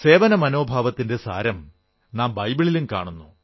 സേവനമനോഭാവത്തിന്റെ സാരം നാം ബൈബിളിലും കാണുന്നു